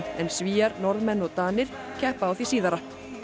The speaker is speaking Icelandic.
en Svíar Norðmenn og Danir keppa á því síðara